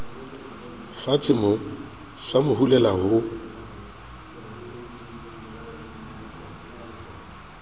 fatshemoo sa mo hulela ho